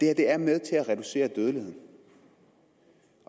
er med til at reducere dødeligheden